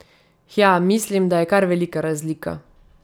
Hja, mislim da je kar velika razlika.